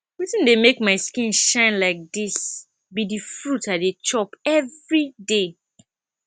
wetin dey make my skin shine like dis be the fruit i dey chop everyday